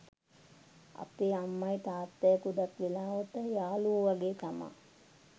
අපේ අම්මයි තාත්තයි ගොඩක් වෙලාවට යාලුවෝ වගේ තමා